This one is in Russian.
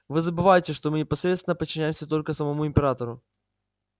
вы забываете что мы непосредственно подчиняемся только самому императору